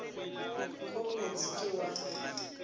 go bot se ke wa